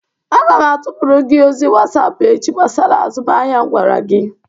Aga m atụpụrụ gị ozi whatapp echi gbasara azụmahịa m gwara gị.